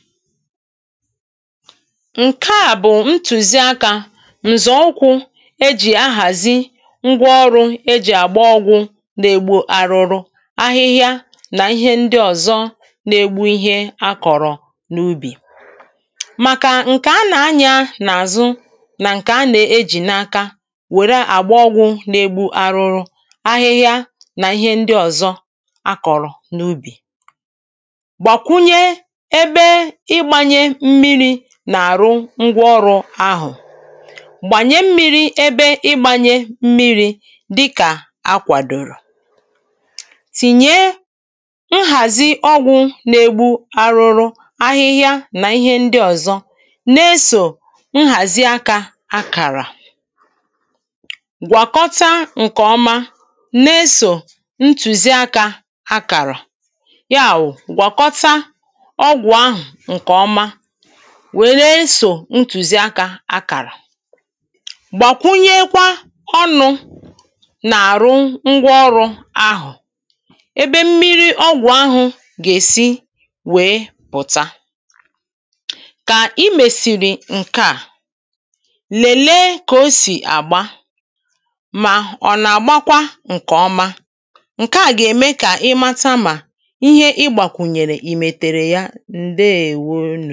ǹkẹ̀ à bụ̀ ǹtùziaka ǹzọ̀ ụkwụ e ji ahazi ngwaọrụ e ji àgbà ọgwụ̄ nà-egbu arụrụ ahịhịa nà ihẹ ndị ọ̀zọ nà-egbu ihẹ a kọ̀rọ̀ n’ubì màkà ǹkẹ̀ a nà-anya n’àzụ nà ǹkẹ̀ a nà-eji n’aka nwèrè agba ọgwụ̄ nà-egbu arụrụ ahịhịa nà ihẹ a kọ̀rọ̀ n’ubì gbàkwunyẹ ẹbẹ ịgbanyẹ m̀miri n’àrụ ngwaọrụ ahụ̀ gbanyẹ m̀miri ẹbẹ ịgbanyẹ m̀miri dịkà a kwàdòrò tinyẹ nhazi ọgwụ̄ nà-egbu arụrụ ahịhịa nà ihẹ ndị ọ̀zọ nà-esō nhazi aka à kàrà gwàkọta ǹkẹ̀ ọma nà-esō ntuzi aka à kàrà yawụ gwakɔta ọgwụ̄ ahụ ǹkẹ̀ ọma wee nà-esō ntuzi aka à kàrà gbàkwunyẹkwa ọnụ n’àrụ ngwaọrụ ahụ̀ ẹbẹ m̀miri ọgwụ̄ ahụ̀ gà-esi wee pụta kà i mesiri ǹkẹ̀ à lelee kà o sì àgbà mà ọ nà-àgbakwa ǹkẹ̀ ọma ǹkẹ̀ à gà-ẹmẹ kà ị mata mà ihẹ ị gbàkwunyẹ̀rẹ̀ i mẹ̀tẹ̀rẹ̀ ya ǹdeewo